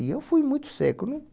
E eu fui muito seco, não